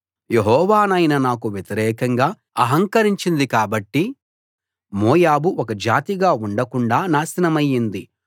యెహోవా నైన నాకు వ్యతిరేకంగా ఆహంకరించింది కాబట్టి మోయాబు ఒక జాతిగా ఉండకుండా నాశనమైంది